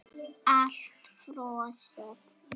Allt frosið.